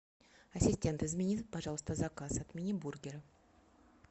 ассистент измени пожалуйста заказ отмени бургеры